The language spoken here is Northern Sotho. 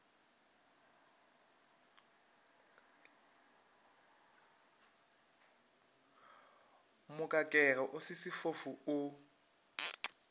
mokakege o se sefofu o